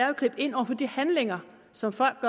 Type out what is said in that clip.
at gribe ind over for de handlinger som folk